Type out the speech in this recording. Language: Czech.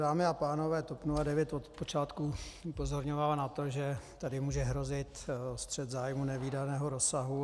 Dámy a pánové, TOP 09 od počátku upozorňovala na to, že tady může hrozit střet zájmů nevídaného rozsahu.